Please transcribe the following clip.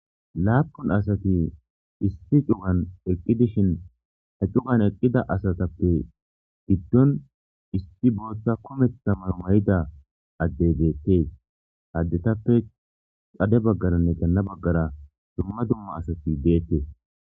Laappun asati issi cugan eqqidishin he cugan eqida asatappe giddon issi booththa kumeththa mayo mayida addey bettees ha addetappe xade baggaranne ganna baggara dumma dumma asati de'ettees.